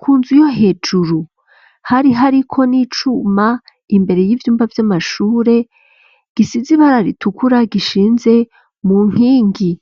Ku nzu yo hejuru hari hariko n'icuma imbere y'ivyumba vy'amashure gisize ibara ritukura, gishinze mu nkingi.